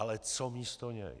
Ale co místo něj?